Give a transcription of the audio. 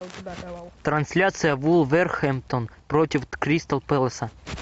трансляция вулверхэмптон против кристал пэласа